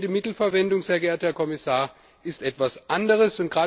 Effiziente Mittelverwendung, Herr Kommissar, ist etwas anderes!